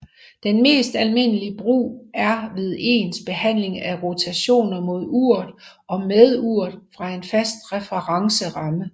Den mest almindelige brug er ved ens behandling af rotationer mod uret og med uret fra en fast referenceramme